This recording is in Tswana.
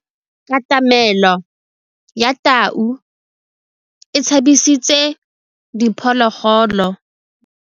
Katamêlô ya tau e tshabisitse diphôlôgôlô.